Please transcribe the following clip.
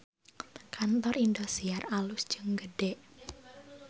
Kantor Indosiar alus jeung gede